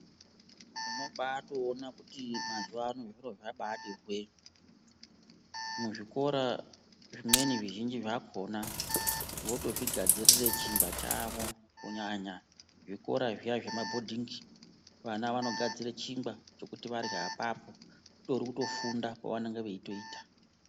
Unobatoona kuti azivano zviro zvabati hwee muzvikora zvimweni zvizhinji zvakona votozvigadzirire chingwa chavo kunyanya zvikora zviya zvemabhodhingi vana vanogadzira chingwa kuti varye apapo kutori kufunda kwavanenge vetoita